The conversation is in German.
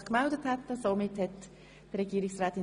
Somit gebe ich das Wort der Regierungsrätin.